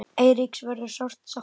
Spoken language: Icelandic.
Eiríks verður sárt saknað.